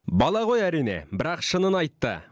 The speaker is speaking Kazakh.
бала ғой әрине бірақ шынын айтты